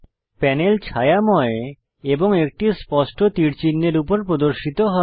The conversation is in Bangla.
প্যানেল ছায়াময় এবং একটি স্পষ্ট তীর চিহ্ন এর উপর প্রদর্শিত হয়